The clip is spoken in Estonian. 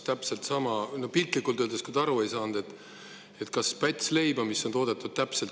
Piltlikult öeldes, kui te aru ei saanud: on kaks pätsi leiba, mis on toodetud ühtmoodi.